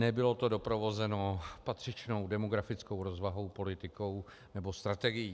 Nebylo to doprovozeno patřičnou demografickou rozvahou, politikou nebo strategií.